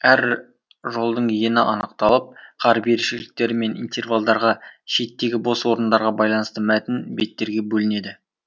әр жолдың ені анықталып қаріп ерекшеліктері мен интервалдарға шеттегі бос орындарға байланысты мәтін беттерге бөлінеді